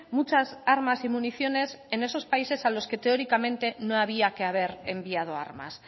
muchas armas y municiones en esos países a los que teóricamente no había que haber enviado armas